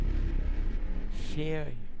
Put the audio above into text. Feøy